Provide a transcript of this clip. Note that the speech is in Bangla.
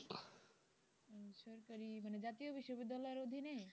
উম সরকারি মানে জাতীয় বিশ্ববিদ্যালয়ের অধীনে?